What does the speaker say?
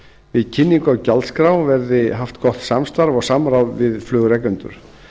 við kynningu á gjaldskrá verði haft gott samstarf og samráð við flugrekendur